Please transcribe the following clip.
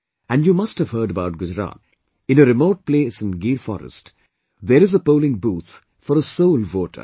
And you must have heard about Gujarat ... in a remote place in Gir forest, there is a polling booth for a sole voter